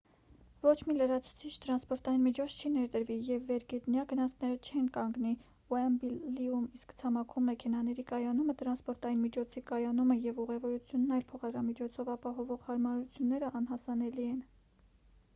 ոչ մի լրացուցիչ տրանսպորտային միջոց չի ներդրվի և վերգետնյա գնացքները չեն կանգնի ուեմբլիում իսկ ցամաքում մեքենաների կայանումը տրանսպորտային միջոցի կայանումը և ուղևորությունն այլ փոխադրամիջոցով ապահովող հարմարությունները անհասանելի են